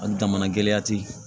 A jamana gɛlɛya ti